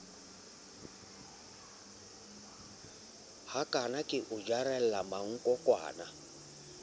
hakana ke o jarela mankokwana